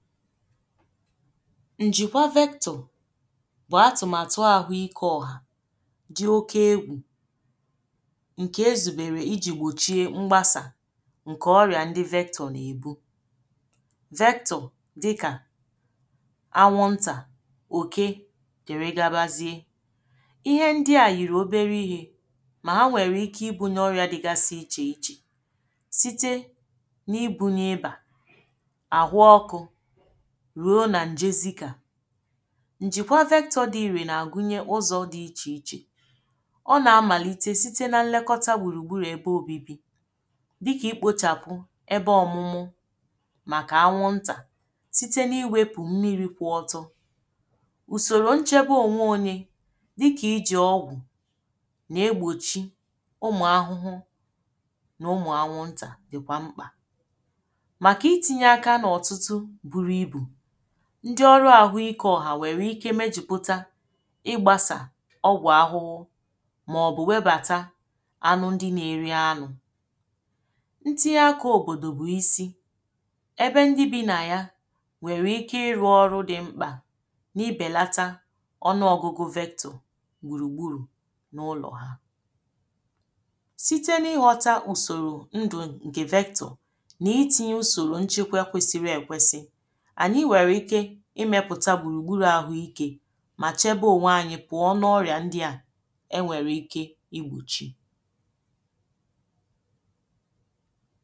njikwa vector bụ̀ atụ̀màtụ àhụ ikė ọ̀hà dị oke egwù ṅ̀kè ezùbèrè iji̇ gbòchie mgbasà ṅ̀kè ọrị̀à ndị vector nà-èbu vector dị kà anwụ̇ ntà òke dèrè gabazie ihe ndị à yìrì obere ihė mà ha nwèrè ike ibunye ọrị̀ȧ dịgasị ichè ichè site n’ibu nye ịbà àhụ ọkụ̇ njikwa vektọ dị iri na-agụnye ụzọ dị iche iche ọ na-amalite site na nlekọta gburugburu ebe obibi dịka i kpochapụ ebe ọmụmụ maka anwụnta site na-iwepu mmiri kwụọtọ usoro nchebe onwe onye dịka iji ọgwụ na-egbochi ụmụ ahụhụ na ụmụ anwụnta dịkwa mkpa ndi ọrụ ahụike ọha nwere ike mejupụta ịgbasà ọgwụ ahụhụ ma ọ bụ webata anụ ndị na-eri anụ ntinye akụ obodo bụ isi ebe ndị bi na ya nwere ike irụ ọrụ dị mkpa n’ibelata ọnụọgụgụ vector gburugburu n’ụlọ ha site n’ịghọta usoro ndụ nke vector na i tinye usoro nchekwe kwesiri ekwesi ànyị nwèrè ike ịmepùta gbùrùgbùrù àhụ ikė mà chėbe ònwe ànyị pụọ n'ọnụ ọrịa ndị à e nwèrè ike igbochi